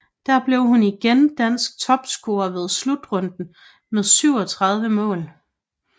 Der blev hun igen dansk topscorer ved slutrunden med 37 mål